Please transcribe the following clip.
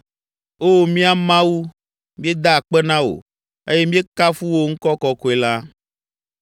Oo, mía Mawu, míeda akpe na wò eye míekafu wò ŋkɔ kɔkɔe la.